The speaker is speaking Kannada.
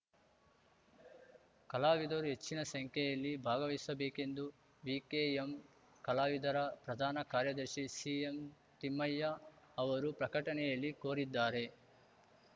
ಕಲಾವಿದರು ಹೆಚ್ಚಿನ ಸಂಖ್ಯೆಯಲ್ಲಿ ಭಾಗವಹಿಸಬೇಕೆಂದು ವಿಕೆಎಂ ಕಲಾವಿದರ ಪ್ರಧಾನ ಕಾರ್ಯದರ್ಶಿ ಸಿಎಂತಿಮ್ಮಯ್ಯ ಅವರು ಪ್ರಕಟಣೆಯಲ್ಲಿ ಕೋರಿದ್ದಾರೆ